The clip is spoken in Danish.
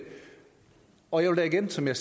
og jeg vil igen som jeg